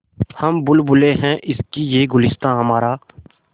हम बुलबुलें हैं इसकी यह गुलसिताँ हमारा